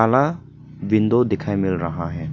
बड़ा विंडो दिखाई मिल रहा है।